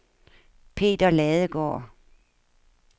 Peter Ladegaard